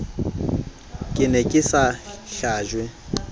ke ne ke sa hlajwe